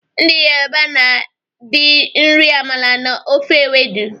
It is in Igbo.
Ndị Yoruba na di iri amala na ofe ewedu